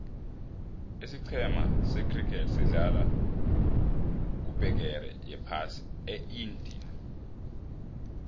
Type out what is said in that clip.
isicema se criket sedlala kubegeri yephasi eindia